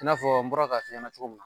I n'a fɔ n bɔra k'a f'i nɛna cogo min.